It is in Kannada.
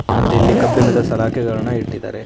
ಮತ್ತೆ ಇಲ್ಲಿ ಕಬ್ಬಿಣದ ಸಲಾಕೆಗಳನ್ನ ಇಟ್ಟಿದ್ದಾರೆ.